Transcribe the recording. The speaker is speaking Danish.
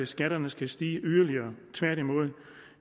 skatterne skal stige yderligere tværtimod